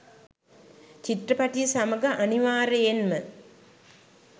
චිත්‍රපටිය සමඟ අනිවාර්යයෙන්ම